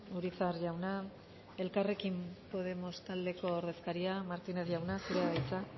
urizar jauna elkarrekin podemos taldeko ordezkaria martínez jauna zurea da hitza